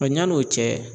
Wa yan'o cɛ